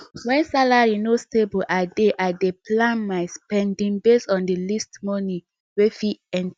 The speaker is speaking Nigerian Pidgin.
when salary no stable i dey i dey plan my spending based on the least money wey fit enter